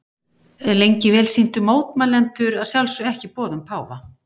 Lengi vel sinntu mótmælendur að sjálfsögðu ekki boðum páfa.